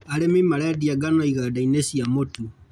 Arĩmi marendia ngano igandainĩ cia mũtu.